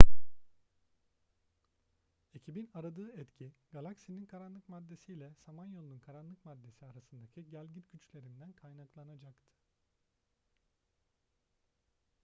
ekibin aradığı etki galaksinin karanlık maddesi ile samanyolu'nun karanlık maddesi arasındaki gelgit güçlerinden kaynaklanacaktı